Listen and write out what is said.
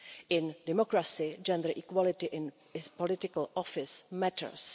In a democracy, gender equality in political office matters.